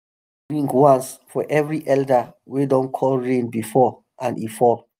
bell go ring once for every elder wey don call rain before and e fall.